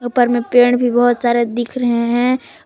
ऊपर में पेड़ भी बहोत सारे दिख रहे हैं और--